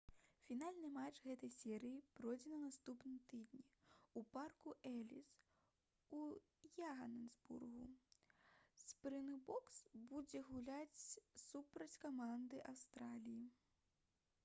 фінальны матч гэтай серыі пройдзе на наступным тыдні ў парку эліс у яганэсбургу — «спрынгбокс» будзе гуляць супраць каманды аўстраліі